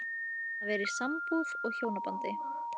Að vera í sambúð og hjónabandi